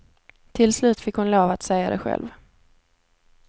Till slut fick hon lov att säga det själv.